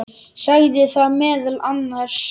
Sagði þar meðal annars